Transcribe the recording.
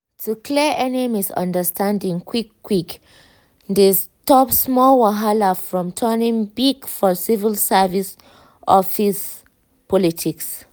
to clear any misunderstanding quick-quick dey stop small wahala from turning big for civil service office politics.